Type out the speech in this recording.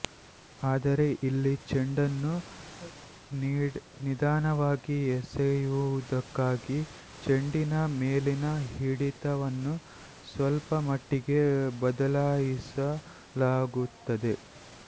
ಆದರೆ ಇಲ್ಲಿ ಚೆಂಡನ್ನು ನಿಧಾನವಾಗಿ ಎಸೆಯುವುದಕ್ಕಾಗಿ ಚೆಂಡಿನ ಮೇಲಿನ ಹಿಡಿತವನ್ನು ಸ್ವಲ್ಪ ಮಟ್ಟಿಗೆ ಬದಲಾಯಿಸಲಾಗುತ್ತದೆ